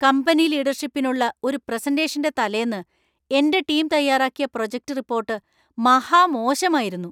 Company ലീഡർഷിപ്പിനുള്ള ഒരു പ്രസന്റേഷന്‍റെ തലേന്ന് എന്‍റെ ടീം തയ്യാറാക്കിയ പ്രോജക്റ്റ് റിപ്പോർട്ട് മഹാ മോശമായിരുന്നു.